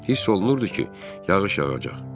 Hiss olunurdu ki, yağış yağacaq.